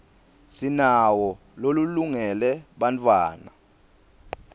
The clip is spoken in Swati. sinawo lolungele bantfwana